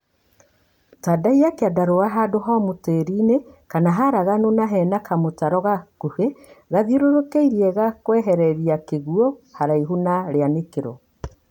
Tandaiya kĩandarũa handũ homũ tĩri-inĩ kana haraganu na hena kamũtaro gakũhĩ gathiũrũrũkĩirie gakwerekeria kĩguũ haraihu na rĩanĩkĩro.